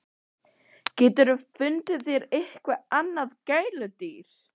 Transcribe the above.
GETUR FUNDIÐ ÞÉR EITTHVERT ANNAÐ GÆLUDÝR!